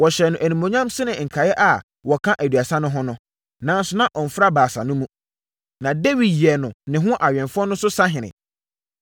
Wɔhyɛɛ no animuonyam sene nkaeɛ a wɔka Aduasa no ho no, nanso na ɔmfra Baasa no mu. Na Dawid yɛɛ no ne ho awɛmfoɔ no so sahene.